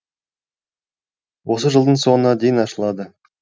осы жылдың соңына дейін ашылады